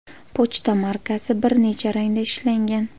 Pochta markasi bir necha rangda ishlangan.